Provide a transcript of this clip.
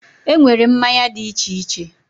Enwere mmanya di iche iche